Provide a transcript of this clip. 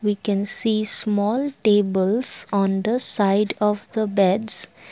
we can see small tables on the side of the beds.